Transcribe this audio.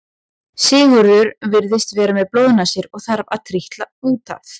Sigurður virðist vera með blóðnasir og þarf að trítla út af.